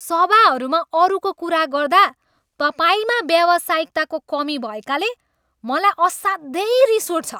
सभाहरूमा अरूको कुरा गर्दा तपाईँमा व्यावसायिकताको कमी भएकाले मलाई असाध्यै रिस उठ्छ।